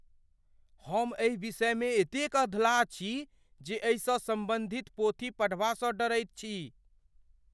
हम एहि विषयमे एतेक अधलाह छी जे एहिसँ सम्बन्धित पोथी पढ़बासँ डरैत छी।